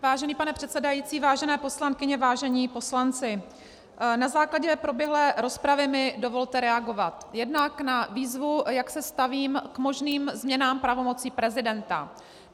Vážený pane předsedající, vážené poslankyně, vážení poslanci, na základě proběhlé rozpravy mi dovolte reagovat - jednak na výzvu, jak se stavím k možným změnám pravomocí prezidenta.